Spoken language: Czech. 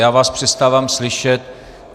Já vás přestávám slyšet.